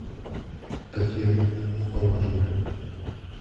татьяна поважная